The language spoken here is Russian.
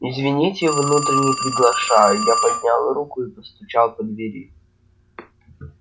извините внутрь не приглашаю я поднял руку и постучал по двери